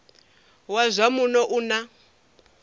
wa zwa muno u na